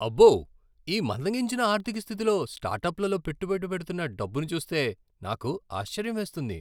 అబ్బో! ఈ మందగించిన ఆర్థిక స్థితిలో స్టార్టప్లలో పెట్టుబడి పెడుతున్న డబ్బును చూస్తే నాకు ఆశ్చర్యం వేస్తుంది.